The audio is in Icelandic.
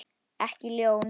Ekki ljón.